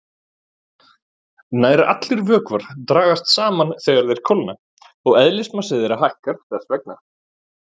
Nær allir vökvar dragast saman þegar þeir kólna og eðlismassi þeirra hækkar þess vegna.